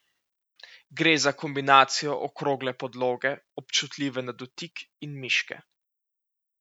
Gre za kombinacijo okrogle podloge, občutljive na dotik in miške.